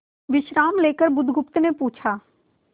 विश्राम लेकर बुधगुप्त ने पूछा